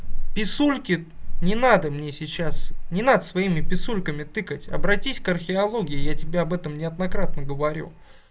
писульки не надо мне сейчас не надо своими писульками тыкать обратись к археологии я тебе об этом неоднократно говорю